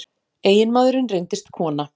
Eiginmaðurinn reyndist kona